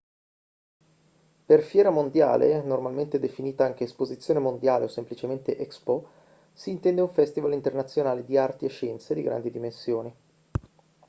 per fiera mondiale normalmente definita anche esposizione mondiale o semplicemente expo si intende un festival internazionale di arti e scienze di grandi dimensioni